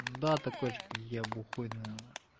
да такой же как я бухой наверное